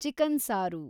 chicken ಸಾರು